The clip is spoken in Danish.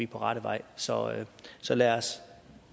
på rette vej så vej så lad os